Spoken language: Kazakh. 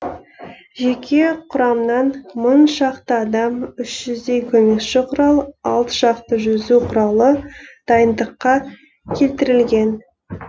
жеке құрамнан мың шақты адам үш жүздей көмекші құрал алты шақты жүзу құралы дайындыққа келтірілген